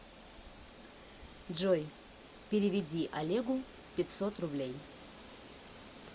джой переведи олегу пятьсот рублей